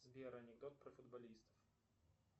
сбер анекдот про футболистов